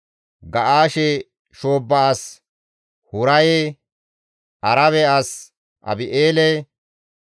Ga7aashe shoobba as Huraye, Arabe as Abi7eele,